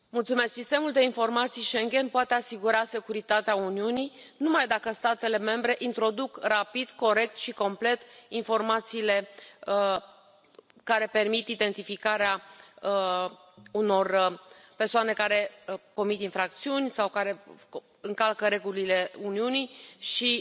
Domnule președinte, Sistemul de Informații Schengen poate asigura securitatea Uniunii numai dacă statele membre introduc rapid, corect și complet informațiile care permit identificarea unor persoane care comit infracțiuni sau care încalcă regulile Uniunii și